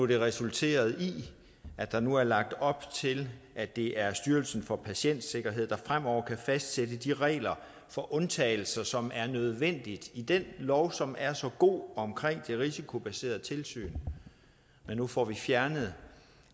det har resulteret i at der nu er lagt op til at det er styrelsen for patientsikkerhed der fremover kan fastsætte de regler for undtagelser som er nødvendige i den lov som er så god omkring det risikobaserede tilsyn nu får vi fjernet